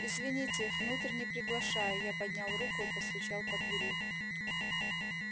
извините внутрь не приглашаю я поднял руку и постучал по двери